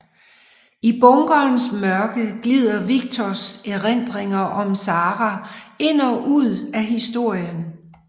I bunkerens mørke glider Victors erindringer om Sara ind og ud af historien